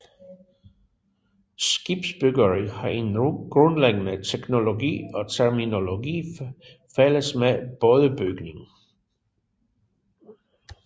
Skibsbyggeri har en grundlæggende teknologi og terminologi fælles med bådebygning